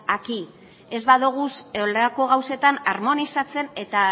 aquí ez baditugu horrelako gauzetan harmonizatzen eta